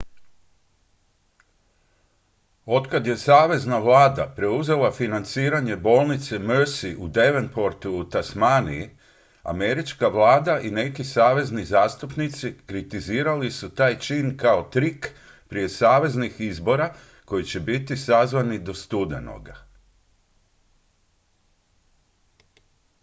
otkad je savezna vlada preuzela financiranje bolnice mersey u devonportu u tasmaniji američka vlada i neki savezni zastupnici kritizirali su taj čin kao trik prije saveznih izbora koji će biti sazvani do studenoga